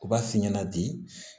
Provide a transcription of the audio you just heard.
U b'a f'i ɲɛna bi